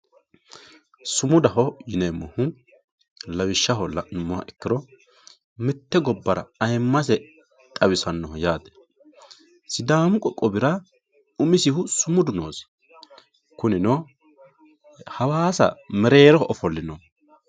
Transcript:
Sumudaho yinemohu lawishao lanumoha ikiro mitte gobara ayimase xawisanoho yatte sidamu qoqowira umisihu sumudu nosi junino hawassa mereroho ofolinoho